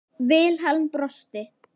Vilhelm brosti.